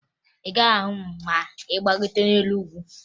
Ị gaghị ahụ m ma ị gbagote elu ugwu